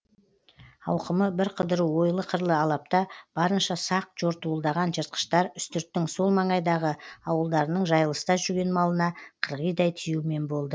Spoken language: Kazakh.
ауқымы бірқыдыру ойлы қырлы алапта барынша сақ жортуылдаған жыртқыштар үстірттің сол маңайдағы ауылдарының жайылыста жүрген малына қырғидай тиюмен болды